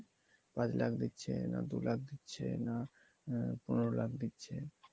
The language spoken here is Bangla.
পাঁচ লাখ দিচ্ছে না দু লাখ দিচ্ছে দিচ্ছে নাকি পনেরো লাখ দিচ্ছে